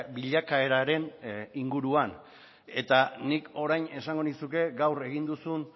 bilakaeraren inguruan eta nik orain esango nizuke gaur egin duzun